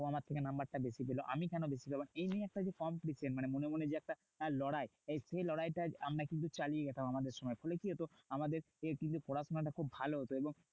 ও আমার থেকে number টা বেশি পেলো। আমি কেন বেশি পাবো? এই নিয়ে একটা যে competition মানে মনে মনে যে একটা লড়াই। এই সে লড়াইটা আমরা কিন্তু চাইলে যেতাম আমাদের সময়। ফলে কি হতো? আমাদের কিন্তু পড়াশোনাটা খুব ভালো হতো এবং